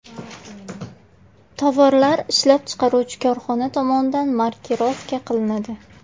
Tovarlar ishlab chiqaruvchi korxona tomonidan markirovka qilinadi.